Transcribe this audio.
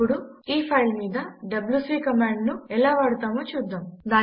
ఇప్పుడు ఈ ఫైల్ మీద డబ్యూసీ కమాండ్ ను ఎలా వాడతామో చూద్దాము